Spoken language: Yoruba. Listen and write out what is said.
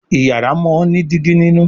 Iyàrá món ní Dígí nínú